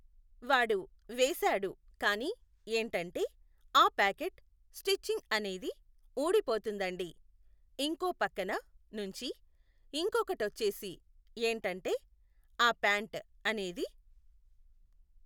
వాడు వేశాడు కానీ ఏంటంటే ఆ పాకెట్ స్టిచ్చింగ్ అనేది ఊడిపోతుందండి, ఇంకో పక్కన నుంచి ఇంకొకటొచ్చేసి ఏంటంటే, ఆ ప్యాంట్ అనేది